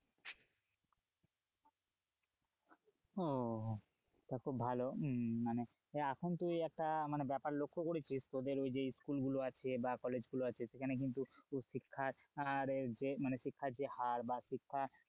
উহ টা খুব ভালো মানে এখন তুই একটা ব্যাপার লক্ষ্য করেছিস তোদের ওই যে স্কুল গুলো আছে বা কলেজ গুলো আছে সেখানে কিন্তু শিক্ষার মানের শিক্ষার যে হার বা শিক্ষা,